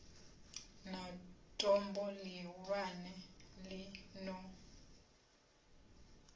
na tombo ḽihulwane ḽi no